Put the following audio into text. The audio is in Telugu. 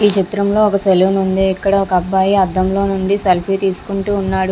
ఈ చిత్రం లో ఒక సెలూన్ ఉంది ఇక్కడ ఒక అబ్బాయి అద్దం లో నుండి సెల్ఫీ తీసుకుంటూ ఉన్నాడు.